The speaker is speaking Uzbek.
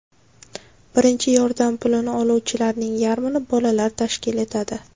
Birinchi yordam pulini oluvchilarning yarmini bolalar tashkil etadi.